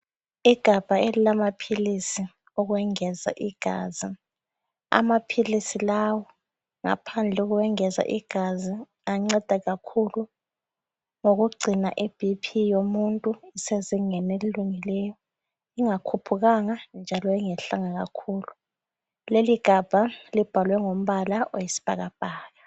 lgabha elilamapilisi okwengeza igazi. Amapilisi lawo ngaphandle kokwengeza igazi anceda kakhulu ngokugcina iBP yomuntu isezingeni elilungileyo, ingakhuphukanga njalo ingayehlanga kakhulu. Leli igabha libhale ngombala oyisibhakabhaka.